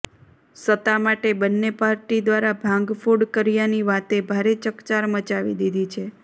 સત્તા માટે બંને પાર્ટી દ્વારા ભાંગફોડ કર્યાની વાતે ભારે ચકચાર મચાવી દિધી છે